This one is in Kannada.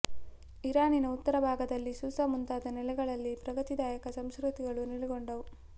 ಇರಾನಿನ ಉತ್ತರ ಭಾಗದಲ್ಲಿ ಸೂಸ ಮುಂತಾದ ನೆಲೆಗಳಲ್ಲಿ ಪ್ರಗತಿದಾಯಕ ಸಂಸ್ಕೃತಿಗಳು ನೆಲೆಗೊಂಡವು